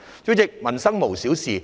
主席，民生無小事。